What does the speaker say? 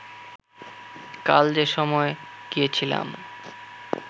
কাল যে সময় গিয়েছিলাম